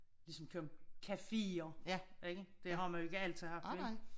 Ligesom kom caféer ik det har man jo ikke altid haft vel